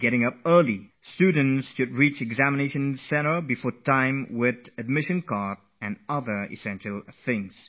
One should arrive at the examination centre equipped with the admitcard and other things well before time